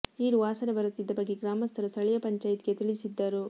ನೀರು ವಾಸನೆ ಬರುತ್ತಿದ್ದ ಬಗ್ಗೆ ಗ್ರಾಮಸ್ಥರು ಸ್ಥಳೀಯ ಪಂಚಾಯತ್ ಗೆ ತಿಳಿಸಿದ್ದರು